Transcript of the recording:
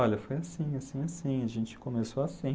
Olha, foi assim, assim, assim, a gente começou assim.